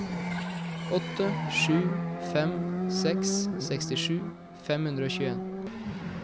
åtte sju fem seks sekstisju fem hundre og tjueen